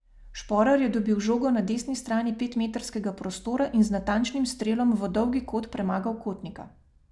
Šporar je dobil žogo na desni strani petmetrskega prostora in z natančnim strelom v dolgi kot premagal Kotnika.